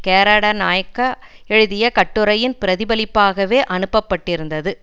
கேரடனாயக்க எழுதிய கட்டுரையின் பிரதிபலிப்பாகவே அனுப்ப பட்டிருந்தது